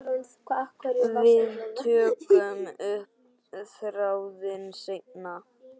Við tökum upp þráðinn seinna.